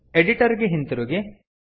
editor ಗೆ ಹಿಂತಿರುಗಿ